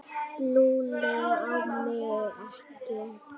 Lúlli á mig ekki.